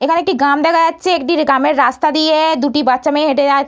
এখানে একটি গ্রাম দেখা যাচ্ছে একটি গ্রামের রাস্তা দিয়ে-এ দুটি বাচ্চা মেয়ে হেটে যাচ --